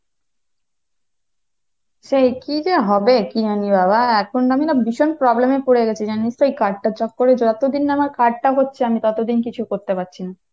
সে কি যে হবে কি জানি বাবা, এখন আমি না ভীষণ problem এ পরে গেছি জানিস তো এই card টার চক্করে যতদিন না আমার card টা হচ্ছে আমি ততদিন কিছু করতে পারছি না।